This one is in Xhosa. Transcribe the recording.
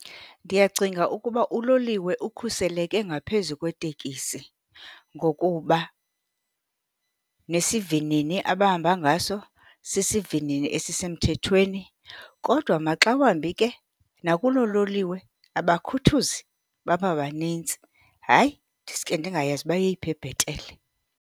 Ndiyacinga ukuba uloliwe ukhuseleke ngaphezu kwetekisi ngokuba nesivinini abahamba ngaso sisivinini esisemthethweni. Kodwa maxa wambi ke nakulo loliwe abakhuthuzi bababanintsi. Hayi, ndiske ndingayazi uba yeyiphi ebhetele.